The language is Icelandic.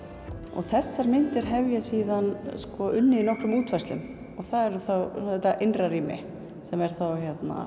og þessar myndir hef ég síðan unnið í nokkrum útfærslum og það er þá þetta innra rými sem er þá